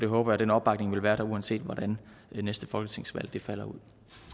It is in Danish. håber den opbakning vil være der uanset hvordan det næste folketingsvalg falder ud